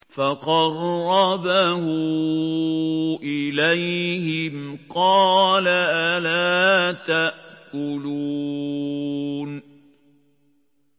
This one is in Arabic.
فَقَرَّبَهُ إِلَيْهِمْ قَالَ أَلَا تَأْكُلُونَ